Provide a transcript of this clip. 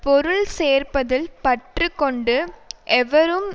பொருள் சேர்ப்பதில் பற்று கொண்டு எவரும்